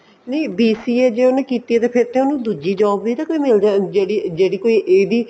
ਨਹੀਂ BCA ਜੇ ਉਹਨੇ ਕੀਤੀ ਆ ਫ਼ੇਰ ਉਹਨੂੰ ਕੋਈ ਦੂਜੀ job ਵੀ ਤਾਂ ਕੋਈ ਮਿਲ ਜਿਹੜੀ ਜਿਹੜੀ ਕੋਈ ਇਹਦੀ